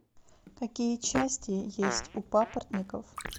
какие части есть у папоротников